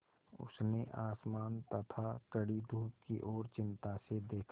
उसने आसमान तथा कड़ी धूप की ओर चिंता से देखा